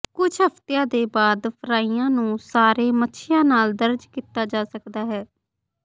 ਕੁਝ ਹਫ਼ਤਿਆਂ ਦੇ ਬਾਅਦ ਫਰਾਈਆਂ ਨੂੰ ਸਾਰੇ ਮੱਛੀਆਂ ਨਾਲ ਦਰਜ ਕੀਤਾ ਜਾ ਸਕਦਾ ਹੈ